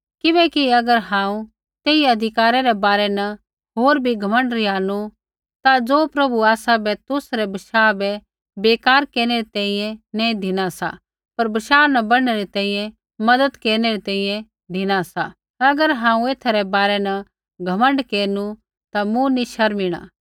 किबैकि अगर हांऊँ तेई अधिकारै रै बारै न होर भी घमण्ड रिहानु ता ज़ो प्रभुऐ आसाबै तुसरै बशाह बै बेकार केरनै री तैंईंयैं नैंई धिना सा पर बशाह न बढ़नै री तैंईंयैं मज़त केरनै री तैंईंयैं धिना सा अगर हांऊँ एथा रै बारै न घमण्ड केरनु ता मूँ नी शर्मिणा